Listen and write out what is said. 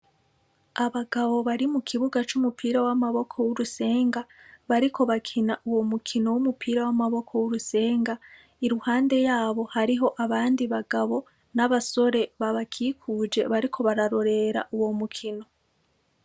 Abagabo bari mu kibuga c'umupira w'amaboko w'urusenga, bariko bakina uwo mukino w'umupira w'amaboko w'urusenga, iruhande yabo hariho abandi bagabo n'abasore babakikuje, bariko bararorera uwo mukino.